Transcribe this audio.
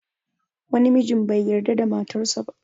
Wani mijin bai yarda da matar sa ba